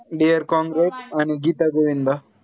dear आणि गीता गोविंदा